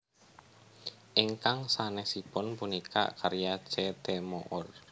Ingkang sanèsipun punika karya C T Moore